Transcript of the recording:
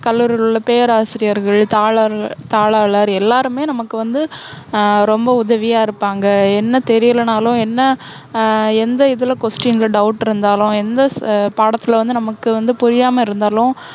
கல்லூரியில் உள்ள பேராசிரியர்கள், தாளாள~தாளாளர், எல்லாருமே நமக்கு வந்து, ஹம் ரொம்ப உதவியா இருப்பாங்க. என்ன தெரியலனாலும், என்ன அஹ் எந்த இதுல question ல doubt இருந்தாலும், எந்த ஸ~பாடத்தில வந்து நமக்கு வந்து புரியாம இருந்தாலும்,